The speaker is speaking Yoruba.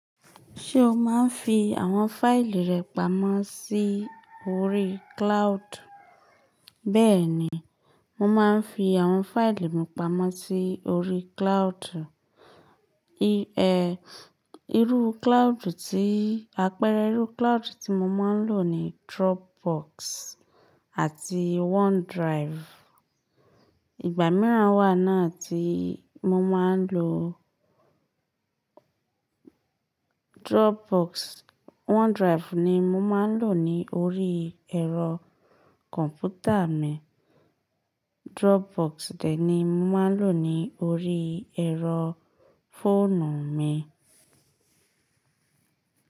Ṣé o máa ń fi àwọn fáìlì rẹ pamọ́ sí orí cloud? Bẹ́ẹ̀ni, mo máa ń fi àwọn fáìlì mi pamọ́ sí orí cloud. Irú cloud tí, àpẹẹrẹ irú cloud tí mo máa ń lò ni Dropbox àti OneDrive. Ìgbà míràn wà náà tí mo máa ń lò Dropbox. OneDrive ni mo máa ń lò ní orí ẹ̀rọ kọ̀m̀pútà mi. Dropbox dè ní mo máa ń lò ní orí ẹ̀rọ fóònù mi.